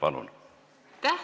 Palun!